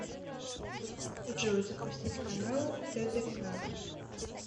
джой запустить каналы тдк